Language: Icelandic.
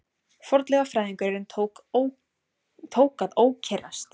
Fornleifafræðingurinn tók að ókyrrast.